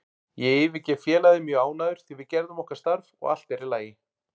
Ég yfirgef félagið mjög ánægður því við gerðum okkar starf og allt er í lagi.